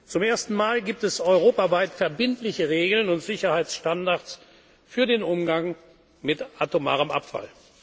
haben. Zum ersten Mal gibt es europaweit verbindliche Regeln und Sicherheitsstandards für den Umgang mit